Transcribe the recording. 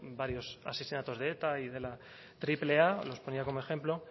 varios asesinatos de eta y de la triple a los ponía como ejemplo